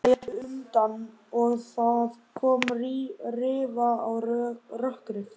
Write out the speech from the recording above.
Hún lét undan og það kom rifa á rökkrið.